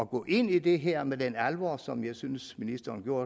gå ind i det her med den alvor som jeg synes ministeren gjorde